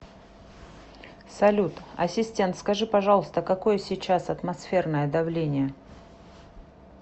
салют ассистент скажи пожалуйста какое сейчас атмосферное давление